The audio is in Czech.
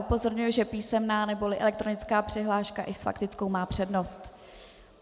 Upozorňuji, že písemná neboli elektronická přihláška i s faktickou má přednost.